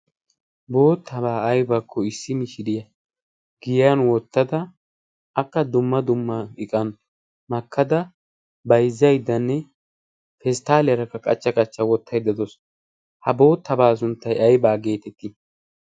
boottabaa aybaakko issi mishiriyaa giyan wottada akka dumma dumma iqan makkada baizzaiddanne persttaaliyaarakka qachcha qachcha wottaiddadoos ha boottabaa sunttai aibaa geetettii?